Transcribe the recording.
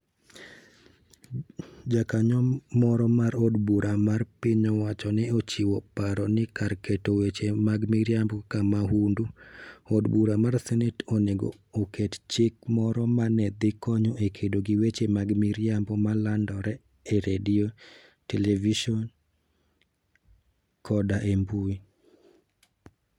Jakanyo moro mar od bura mar piny owacho ne ochiwo paro ni kar keto weche mag miriambo kaka mahundu, od bura mar senet onego oket chik moro ma ne dhi konyo e kedo gi weche mag miriambo ma landore e redio, televison, koda e mbui.